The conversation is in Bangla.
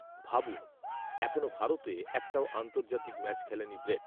ভাবুন, এখনও ভারতে একটাও আন্তর্জাতিক ম্যাচ খেলেনি ব্রেট